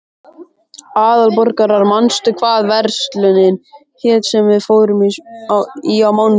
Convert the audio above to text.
Aðalborgar, manstu hvað verslunin hét sem við fórum í á mánudaginn?